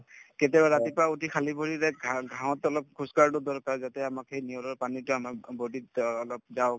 কেতিয়াবা ৰাতিপুৱা উঠি খালি ভৰিৰে ঘাঁ ঘাঁহত অলপ খোজকঢ়াতো দৰকাৰ যাতে আমাক সেই নিয়ঁৰৰ পানীতো আমাক body ত অ অলপ যাওঁক